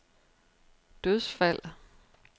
dødsfald